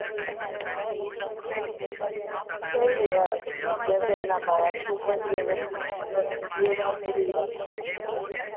ਸਹੀ ਐ ਠੀਕ ਐ ਕਿਹੜਾ ਬਾੜਾ ਦਸਦੀ ਆ